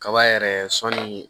Kaba yɛrɛ sɔnni